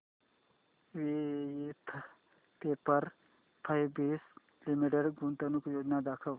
Voith paper fabrics limited गुंतवणूक योजना दाखव